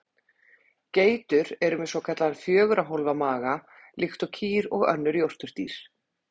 Geitur eru með svokallaðan fjögurra hólfa maga líkt og kýr og önnur jórturdýr.